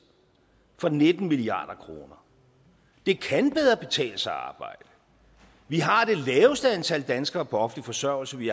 for nitten milliard kroner det kan bedre betale sig at arbejde vi har det laveste antal danskere på offentlig forsørgelse vi